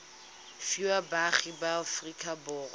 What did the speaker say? fiwa baagi ba aforika borwa